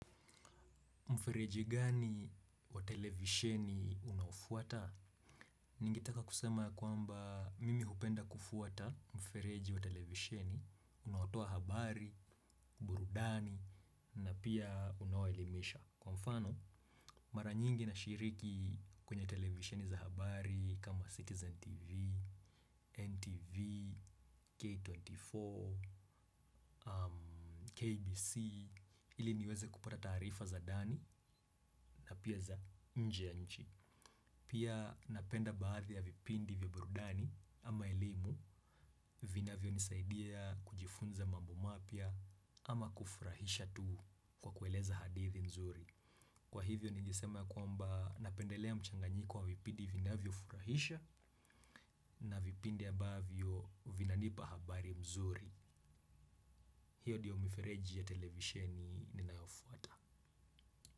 Mfereji gani wa televisheni unaofuata? Ningetaka kusema ya kwamba mimi hupenda kufuata mfereji wa televisheni, unawatoa habari, burudani, na pia unawaelimisha. Kwa mfano, mara nyingi na shiriki kwenye televisheni za habari kama Citizen TV, NTV, K24, KBC, ili niweze kupata tarifa za dani na pia za nje ya nchi. Pia napenda baadhi ya vipindi vya burudani ama elimu vinavyonisaidia kujifunza mambo mapia ama kufurahisha tu kwa kueleza hadithi mzuri. Kwa hivyo nijisema kwamba napendelea mchanganyiko wa vipindi vinavyofurahisha na vipindi ya ambavyo vinanipa habari mzuri. Hiyo diyo mifereji ya televisheni ninayofuata.